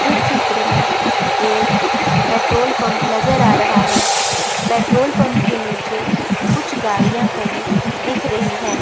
इस चित्र में एक पेट्रोल पंप नजर आ रहा है पेट्रोल पंप के नीचे कुछ गाड़ियां खड़ी दिख रही है।